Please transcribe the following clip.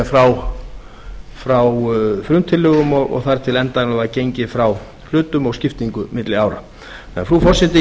er frá frumtillögum og þar til endanlega var gengið frá hlutum og skiptingu milli ára þannig að frú forseti